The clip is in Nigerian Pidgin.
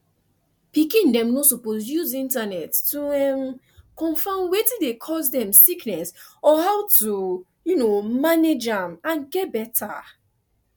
pikin dem no suppose use internet to um confam wetin dey cause dem sickness or how to um manage am and get beta